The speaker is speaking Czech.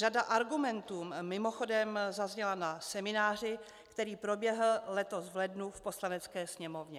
Řada argumentů mimochodem zazněla na semináři, který proběhl letos v lednu v Poslanecké sněmovně.